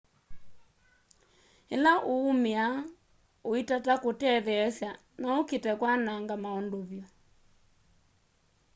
ila uumia uitata kutetheesya no ukite kwananga maundu vyu